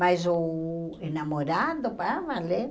Mas o namorado, para valer,